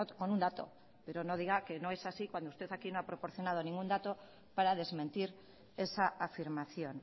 con un dato pero no diga que no es así cuando usted aquí no ha proporcionado ningún dato para desmentir esa afirmación